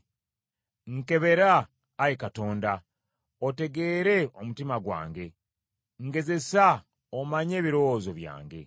Nkebera, Ayi Katonda, otegeere omutima gwange. Ngezesa omanye ebirowoozo byange.